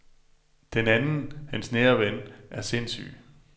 Den anden, hans nære ven, er sindssyg.